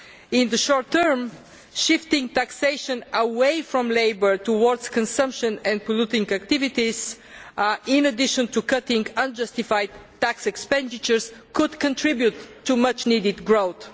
In the short term, shifting taxation away from labour towards consumption and polluting activities, in addition to cutting unjustified tax expenditure, could contribute to much needed growth.